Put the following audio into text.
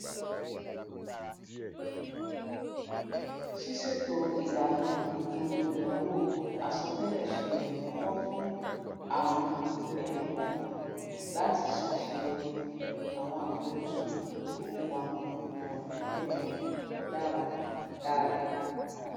ṣíṣètò ìlànà ètò ìnáwó àsọtẹlẹ ṣe ìrànlọwọ fún àwọn ẹnìkọọkan láti ṣàṣèyọrí àwọn àfojúsùn ìfowópamọ ìgbà pípẹ wọn dáradára